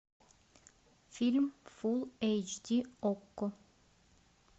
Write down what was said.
фильм фул эйч ди окко